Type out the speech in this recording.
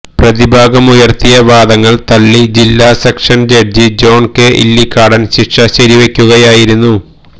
പ്രതിഭാഗം ഉയർത്തിയ വാദങ്ങൾ തള്ളി ജില്ലാ sessions judge John K Illikkadan ശിക്ഷ ശരിവയ്ക്കുകയായിരുന്നു